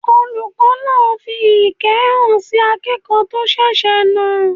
Olùkọ́ náà fi ìkẹ́ hàn sí akẹ́kọ̀ọ́ tó ṣèṣe náà